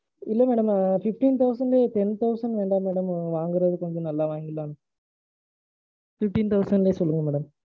இல்ல madam. fifteen thousand லையே, ten thousand வேண்டாம் madam. வாங்குறது கொஞ்சம் நல்லா வாங்கிரலாம். fifteen thousand லையே சொல்லுங்க madam.